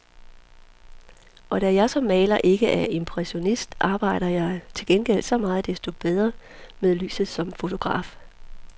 Og da jeg som maler ikke er impressionist, arbejder jeg til gengæld så meget desto mere med lyset som fotograf.